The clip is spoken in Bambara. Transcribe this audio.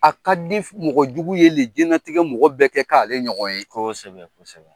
A ka di mɔgɔ jugu ye le jinɛlatigɛ mɔgɔ bɛɛ kɛ k'ale ɲɔgɔn ye, kosɛbɛ kosɛbɛ.